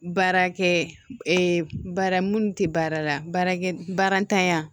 Baarakɛ baara minnu tɛ baara la baarakɛ baara tanya